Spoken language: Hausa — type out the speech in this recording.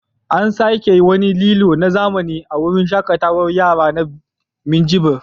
An saka wani lilo na zamani a wurin shaƙarar yara na Minjibir.